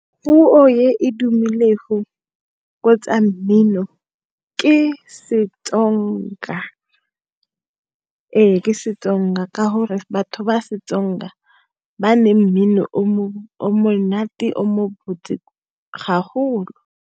Puo e e tumelego ko tsa mmino ke seTsonga, ee ke seTsonga ka gore batho ba seTsonga ba ne mmino o monate o mobotse ga golo.